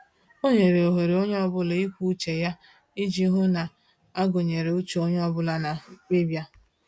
O nyere ohere onye ọbụla ikwu uche ya iji hụ a gụnyere uche onye ọ bụla na mkpebi a